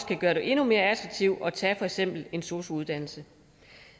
kan gøre det endnu mere attraktivt at tage for eksempel en sosu uddannelse